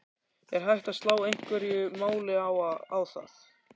Er hægt að slá einhverju máli á það?